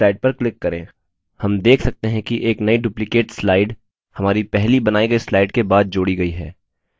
हम देख सकते हैं कि एक नई duplicate slide हमारी पहली बनाई गई slide के बाद जोड़ी गई है